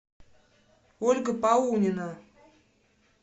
ольга паунина